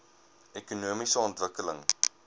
ekonomiese ontwikkeling